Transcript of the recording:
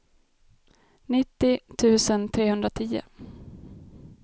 nittio tusen trehundratio